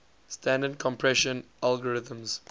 standard compression algorithms